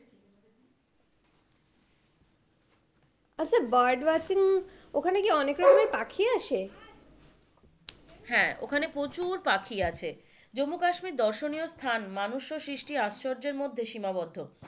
আচ্ছা bird watching ওখানে কি অনেক রকমের পাখি আসে? হ্যাঁ, ওখানে প্রচুর পাখি আছে জম্মু কাশ্মীর ধর্ষণীয় স্থান মানুষ ও সৃষ্টির আশ্চর্যের মধ্যে সীমাবদ্ধ,